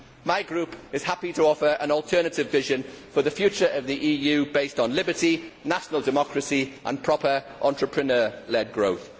My group is happy to offer an alternative vision for the future of the EU based on liberty, national democracy and proper entrepreneur led growth.